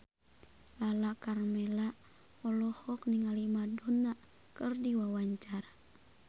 Lala Karmela olohok ningali Madonna keur diwawancara